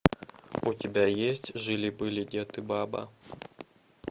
у тебя есть жили были дед и баба